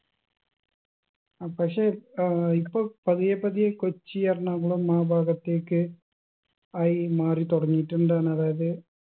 അഹ് പക്ഷെ ഏർ ഇപ്പൊ പതിയെ പതിയെ കൊച്ചി എറണാകുളം ആ ഭാഗത്തേക്ക് ആയി മാറിത്തുടങ്ങിയിട്ടുണ്ട്ന്ന് അതായത്